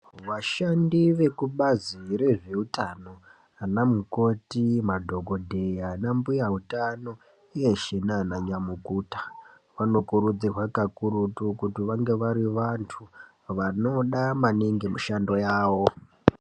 Vashandi vekubazi rezveutano ana mukoti madhokodheya anambuya utana uye nana nyamukuta vanokurudzirwa kakurutu kuti vange vari vantu vanoda maningi mishando yavo .